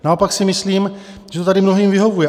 Naopak si myslím, že to tady mnohým vyhovuje.